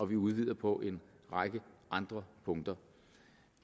vi udvider på en række andre punkter